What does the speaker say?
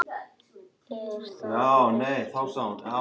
Er það rétt til getið?